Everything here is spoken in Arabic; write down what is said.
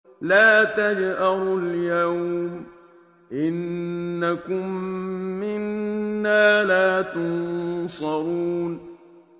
لَا تَجْأَرُوا الْيَوْمَ ۖ إِنَّكُم مِّنَّا لَا تُنصَرُونَ